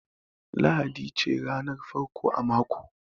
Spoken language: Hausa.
Lahadi ce ranar farko a mako